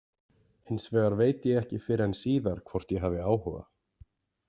Hins vegar veit ég ekki fyrr en síðar hvort ég hef áhuga.